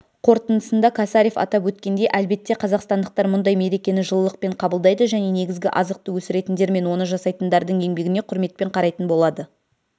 қорытындысында косарев атап өткендей әлбетте қазақстандықтар мұндай мерекені жылылықпен қабылдайды және негізгі азықты өсіретіндер мен оны жасайтындардың еңбегіне құрметпен қарайтын болады